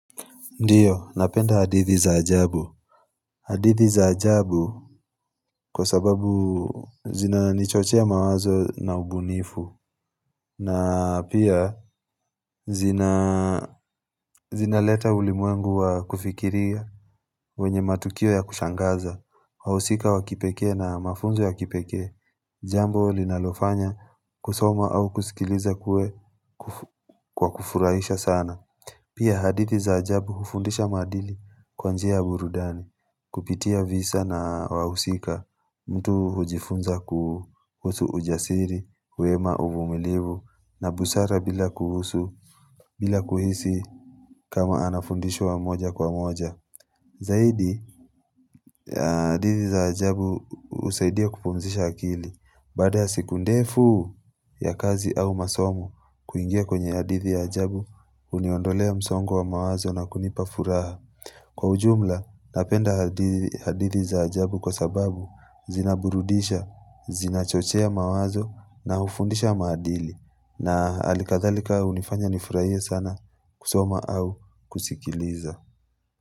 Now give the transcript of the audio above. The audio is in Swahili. Ndiyo napenda hadithi za ajabu hadithi za ajabu kwa sababu zina nichochea mawazo na ubunifu na pia zina zinaleta ulimwengu wa kufikiria wenye matukio ya kushangaza wahusika wakipekee na mafunzo ya kipekee jambo linalofanya kusoma au kusikiliza kuwe kwa kufurahisha sana Pia hadithi za ajabu hufundisha maadili kwa njia burudani, kupitia visa na wahusika, mtu hujifunza kuhusu ujasiri, wema umumilivu, na busara bila kuhusu, bila kuhisi kama anafundishwa moja kwa moja. Zaidi, hadithi za ajabu husaidia kupumzisha akili. Bada siku ndefu ya kazi au masomo kuingia kwenye hadithi ya ajabu huniondolea msongo wa mawazo na kunipa furaha. Kwa ujumla, napenda hadi hadithi za ajabu kwa sababu zinaburudisha, zinachochea mawazo na hufundisha maadili. Na hali kadhalika hunifanya nifurahie sana kusoma au kusikiliza.